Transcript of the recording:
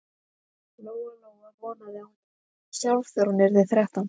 Lóa-Lóa vonaði að hún yrði ekki svona sjálf þegar hún yrði þrettán.